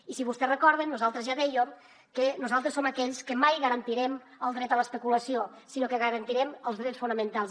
i si vostès recorden nosaltres ja dèiem que nosaltres som aquells que mai garantirem el dret a l’especulació sinó que garantirem els drets fonamentals